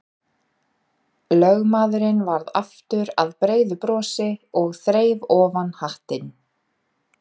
Lögmaðurinn varð aftur að breiðu brosi og þreif ofan hattinn.